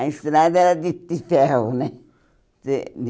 A estrada era de de ferro, né? Você